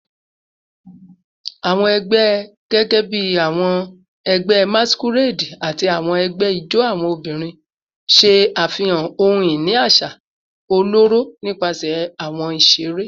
Awọn ẹgbẹ, gẹgẹbi awọn ẹgbẹ masquerade ati awọn ẹgbẹ ijó awọn obinrin, ṣe afihan ohun-ini aṣa ọlọrọ nipasẹ awọn iṣere